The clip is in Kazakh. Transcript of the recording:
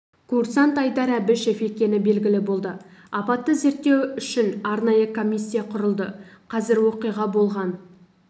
курсант айдар әбішев екені белгілі болды апатты зерттеу үшін арнайы комиссия құрылды қазір оқиға болған